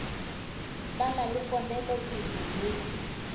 ba na le ponelopele ye